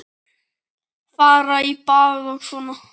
Fara í bað og svona.